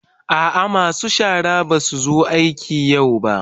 A'a masu shara ba su zo aiki yau ba.